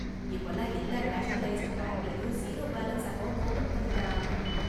இப்பலாம் எல்லா நேஷனலைஸ்டு பேங்க்லயும் ஜீரோ பேலன்ஸ் அக்கவுண்ட் ஓபன் பண்ணித் தராங்க.